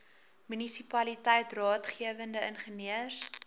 munisipaliteit raadgewende ingenieurs